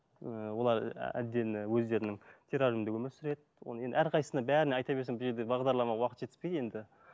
ыыы олар ы отдельно өздерінің террариумында өмір сүреді оны енді әрқайсысына бәріне айта берсем бұл жерде бағдарлама уақыт жетіспейді енді